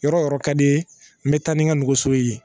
Yɔrɔ yɔrɔ ka di ye n bɛ taa ni n ka nɛgɛso ye